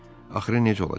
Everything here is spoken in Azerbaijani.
Axırı necə olacaq?